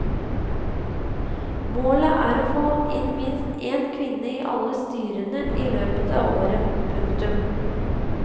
Målet er å få inn minst en kvinne i alle styrene i løpet av året. punktum